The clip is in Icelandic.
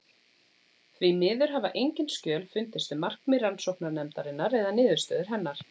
Því miður hafa engin skjöl fundist um markmið rannsóknarnefndarinnar eða niðurstöður hennar.